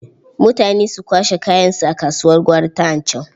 Mutane su kwashe kayansu a kasuwar gwari ta Anchau.